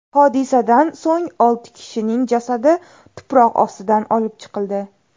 Hodisadan so‘ng olti kishining jasadi tuproq ostidan olib chiqildi.